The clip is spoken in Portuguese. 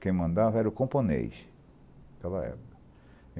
Quem mandava era o camponês, naquela época.